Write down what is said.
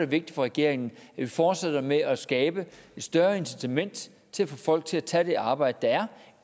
vigtigt for regeringen at vi fortsætter med at skabe et større incitament til at folk tager tager det arbejde der